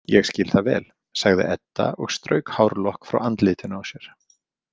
Ég skil það vel, sagði Edda og strauk hárlokk frá andlitinu á sér.